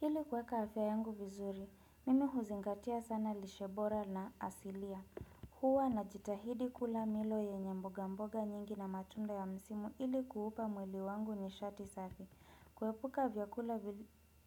Hili kuweka afya yangu vizuri, mimi huzingatia sana lishe bora na asilia. Hua na jitahidi kula milo yenye mboga mboga nyingi na matunda ya msimu ili kuupa mwili wangu nishati safi. Kwepuka vyakula